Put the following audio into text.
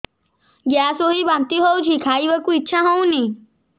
gas ହୋଇ ବାନ୍ତି ହଉଛି ଖାଇବାକୁ ଇଚ୍ଛା ହଉନି